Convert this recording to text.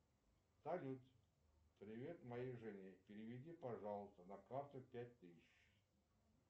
салют привет моей жене переведи пожалуйста на карту пять тысяч